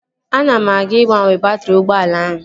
Ana m aga ịgbanwe baatrị ụgbọala ahụ